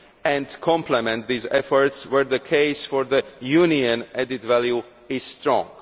and complement these efforts, where the case for the Union added value is strong.